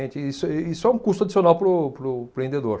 Isso, e isso é um custo adicional para o, para o empreendedor.